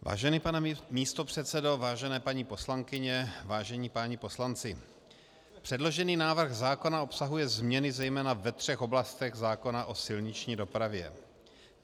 Vážený pane místopředsedo, vážené paní poslankyně, vážení páni poslanci, předložený návrh zákona obsahuje změny zejména ve třech oblastech zákona o silniční dopravě.